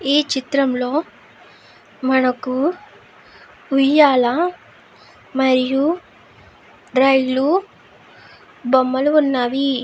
ఈ చిత్రంలో మనకు ఉయ్యాలా మరియు రైలు బొమ్మలు ఉన్నావి.